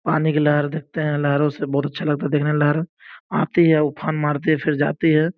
पानी की लहर देखते हैं। लहरों से बहुत अच्छा लगता देखने में लहर आती है उफान मारती है और फिर जाती है।